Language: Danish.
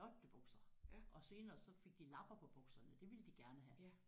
Flotte bukser! Og senere så fik de lapper på bukserne det ville de gerne have